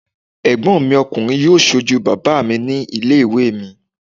Ẹ̀gbọ́n mi ọkùnrin yóò sojú bàbá mi ní ilé ìwé mi